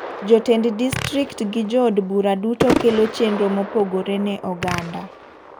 Jotend distrikt gi jood bura duto kelo chenro mopogre ne oganda.